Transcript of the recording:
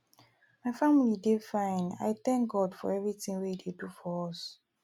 my family dey fine i thank god for everything wey e dey do for us